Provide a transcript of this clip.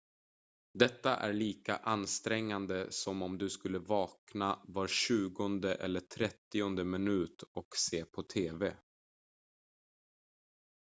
detta är lika ansträngande som om du skulle vakna var tjugonde eller trettionde minut och se på tv